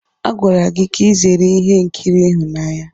A gwara gị ka ị zere ihe nkiri ịhụnanya!